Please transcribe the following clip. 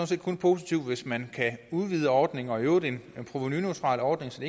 set kun positivt hvis man kan udvide ordningen og i øvrigt en provenuneutral ordning så